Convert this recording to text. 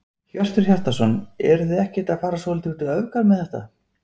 Hjörtur Hjartarson: Eruð þið ekkert að fara svolítið út í öfgar með þetta?